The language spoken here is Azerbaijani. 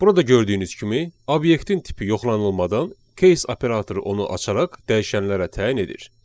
Burada gördüyünüz kimi, obyektin tipi yoxlanılmadan case operatoru onu açaraq dəyişənlərə təyin edir.